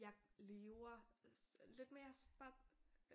Jeg lever lidt mere spar